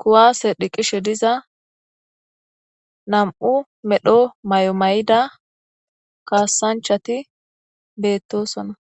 kuwaase dhiqishe diza nam7u medho may7omay7ida kaassanchati beettosona.